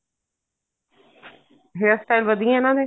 hair style ਵਧੀਆ ਇਹਨਾ ਦੇ